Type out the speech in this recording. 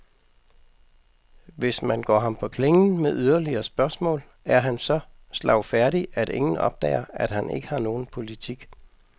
Hvis man går ham på klingen med yderligere spørgsmål, er han så slagfærdig, at ingen opdager, at han ikke har nogen politik.